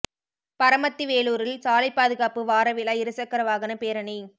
பரமத்தி வேலூரில் சாலைப் பாதுகாப்பு வார விழா இருசக்கர வாகனப் பேரணி